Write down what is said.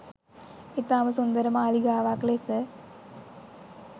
ඉතාම සුන්දර මාලිගාවක් ලෙස